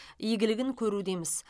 игілігін көрудеміз